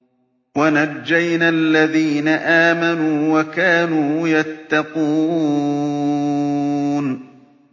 وَنَجَّيْنَا الَّذِينَ آمَنُوا وَكَانُوا يَتَّقُونَ